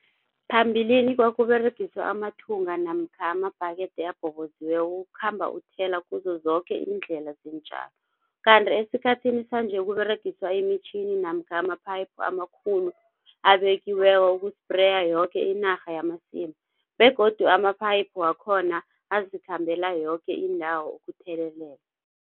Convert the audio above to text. Phambilini kwakUberegiswa amathunga namkha amabhakethe abhoboziweko ukhamba uthela kuzo zoke iindlela zeentjalo. Kanti esikhathini sanje kUberegiswa imitjhini namkha ama-pipe amakhulu abekiweko uku-sprayer yoke inarha yamasimu begodu ama-pipe wakhona azikhambela yoke indawo ukuthelelela.